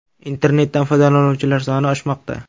Internetdan foydalanuvchilar soni oshmoqda.